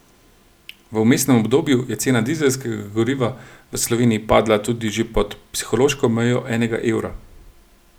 V vmesnem obdobju je cena dizelskega goriva v Sloveniji padla tudi že pod psihološko mejo enega evra.